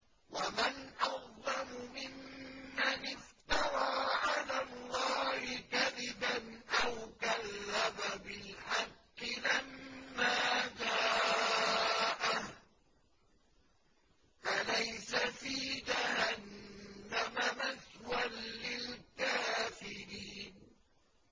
وَمَنْ أَظْلَمُ مِمَّنِ افْتَرَىٰ عَلَى اللَّهِ كَذِبًا أَوْ كَذَّبَ بِالْحَقِّ لَمَّا جَاءَهُ ۚ أَلَيْسَ فِي جَهَنَّمَ مَثْوًى لِّلْكَافِرِينَ